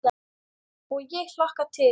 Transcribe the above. Og ég hlakka til.